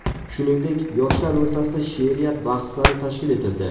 Shuningdek, yoshlar o‘rtasida she’riyat bahslari tashkil etildi.